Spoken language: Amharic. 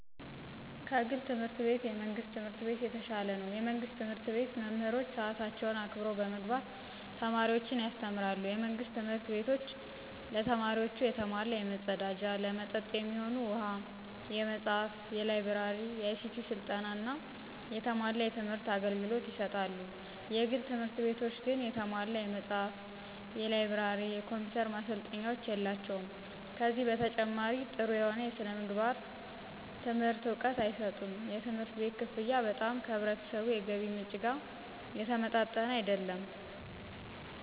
ከግል ትምህርት ቤት የመንግስት ትምህርት ቤት የተሻለ ነው። የመንግስት ትምህርት ቤት መምህሮች ሰአታቸውን አክብረው በመግባት ተማሪዎችን ያስተምራሉ። የመንግስት ትምህርት ቤቶች ለተማሪዎቹ የተሟላ የመፀዳጃ፣ ለመጠጥ የሚሆኑ ውሃ፣ የመፅሃፍ፣ የላይ ብረሪ፣ የአይሲቲ ስልጠና፣ የተሟላ የትምህር አገልግሎት ይሰጣሉ። የግል ትምህርት ቤቶች ግን የተሟላ የመጽሐፍ፣ የላይብረሪ፣ የኮምፒውተር ማሰልጠኛዎች የላቸውም። ከዚህ በተጨማሪ ጠሩ የሆነ የስነምግባር ትምህርት እውቀት አይሰጡም። የትምህርት ቤት ከፍያ በጣም ከህብረተሰቡ የገቢ ምንጭ ጋር የተመጣጠነ አይደለም።